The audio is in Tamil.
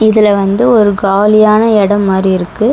இதுல வந்து ஒரு காலியான எடம் மாரி இருக்கு.